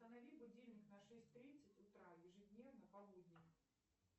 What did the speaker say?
установи будильник на шесть тридцать утра ежедневно по будням